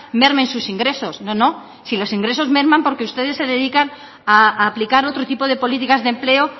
mermen sus ingresos no no si los ingresos merman porque ustedes se dedican a aplicar otro tipo de políticas de empleo